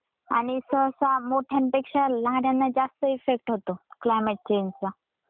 आणि सहसा मोठ्यांपेक्षा लहान्याना जास्त इफेक्ट होतो क्लायमेट चेंज चा.